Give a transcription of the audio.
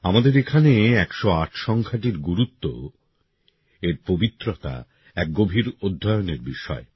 আমাদের এখানে ১০৮ সংখ্যাটির গুরুত্ব এর পবিত্রতা এক গভীর অধ্যয়নের বিষয়